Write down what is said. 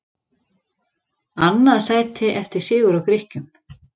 Annað sæti eftir sigur á Grikkjum